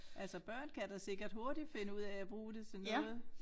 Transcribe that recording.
Altså børn kan da sikkert hurtigt finde ud af at bruge det til noget